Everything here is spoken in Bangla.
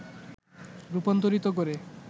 রূপান্তরিত করে